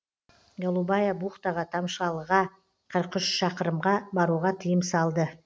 голубая бухтаға тамшалыға қырық үш шақырымға баруға тыйым салды